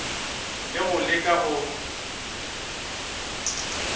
e le go leka go